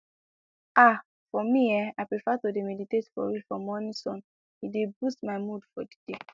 ah for me[um]i prefer to dey meditate for real for morning sun e dey boost my mood for the day